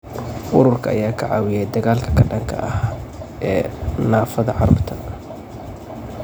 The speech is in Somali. Ururka ayaa ka caawiyay dagaalka ka dhanka ah ee naafada carruurta.